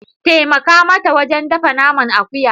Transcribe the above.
Taimaka mata wajen dafa naman akuya.